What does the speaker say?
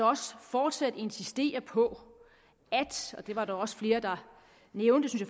også fortsat insistere på det var der også flere der nævnte det